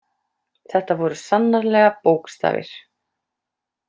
Þetta voru sannarlega bókstafir.